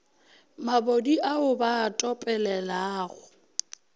mabodi ao ba a topelelago